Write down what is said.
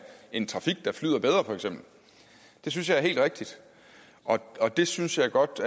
en trafik der flyder bedre det synes jeg er helt rigtigt og det synes jeg godt